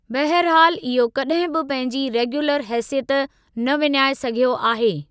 बहरिहालु इहो कॾहिं बि पंहिंजी रेग्यूलर हेसियत न विञाइ सघियो आहे।